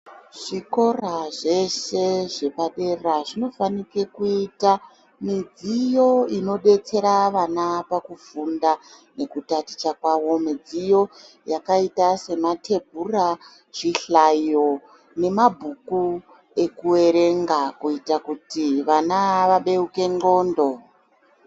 Zvikora zveshe zvepadera zvinofanike kuita midziyo inobetsere vana pakufunda midziyo yakaita sematebhura chihlayo nabhuku ekuverenga kuti vane vabeuke nxondo .